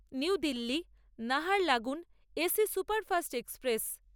new Delhi Naharlagun AC superfast express